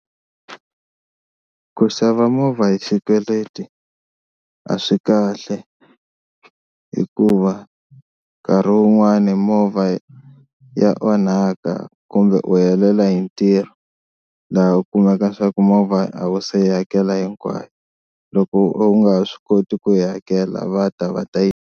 Ku xava movha hi xikweleti a swi kahle hikuva nkarhi wun'wani movha ya ya onhaka kumbe u helela hi ntirho laha u kumaka leswaku movha a wu se yi hakela hinkwayo, loko u nga ha swi koti ku yi hakela va ta va ta yi.